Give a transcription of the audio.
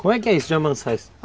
Como é que é isso de amansar isso?